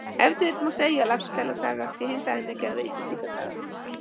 Ef til vill má segja að Laxdæla saga sé hin dæmigerða Íslendingasaga.